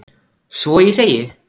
Svo ég segi: